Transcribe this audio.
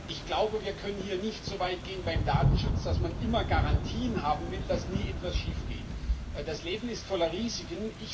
Ich glaube, wir können hier nicht so weit gehen beim Datenschutz, dass man immer Garantien haben will, dass nie etwas schief geht. Das Leben ist voller Risiken.